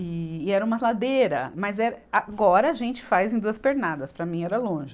E, e era uma ladeira, mas eh, agora a gente faz em duas pernadas, para mim era longe.